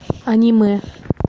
аниме